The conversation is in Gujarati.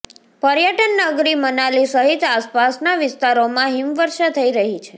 પર્યટન નગરી મનાલી સહિત આસપાસના વિસ્તારોમાં હિમવર્ષા થઈ રહી છે